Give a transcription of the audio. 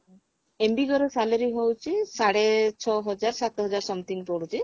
MBK ର salary ହଉଛି ସାଢେ ଛଅ ହଜାର ସାତ ହଜାର something ପଡୁଛି